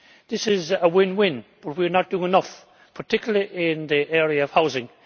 This is a win-win. But we are not doing enough, particularly in the area of housing.